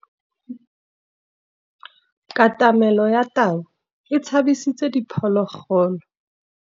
Katamêlô ya tau e tshabisitse diphôlôgôlô.